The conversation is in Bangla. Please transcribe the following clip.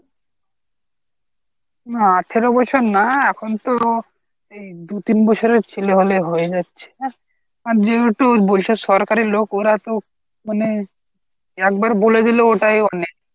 না আঠারো বছর না এখন তো দুই তিন বছরের ছেলে হলেই হয়ে যাচ্ছে হ্যাঁ আর যেহেতু বলছে সরকারি লোক ওরা তো মানে একবার বলে দিলেই ওটাই অনেক